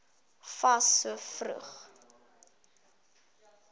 fas so vroeg